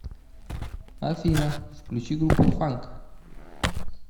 афина включить группу фанк